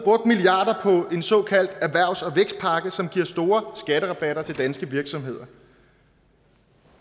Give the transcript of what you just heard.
en såkaldt erhvervs og vækstpakke som giver store skatterabatter til danske virksomheder